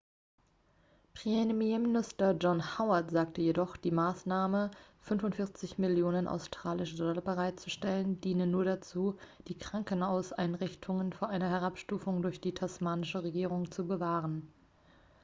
premierminister john howard sagte jedoch die maßnahme 45 millionen australische dollar bereitzustellen diene nur dazu die krankenhauseinrichtungen vor einer herabstufung durch die tasmanische regierung zu bewahren